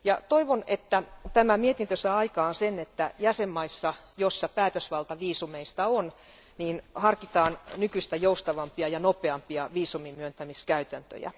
Toivon, että tämä mietintö saa aikaan sen, että jäsenvaltioissa, joissa päätösvalta viisumeista on, harkitaan nykyistä joustavampia ja nopeampia viisuminmyöntämiskäytäntöjä.